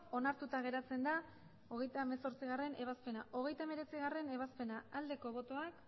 onartuta geratzen da hogeita hemezortzigarrena ebazpena hogeita hemeretzigarrena ebazpena aldeko botoak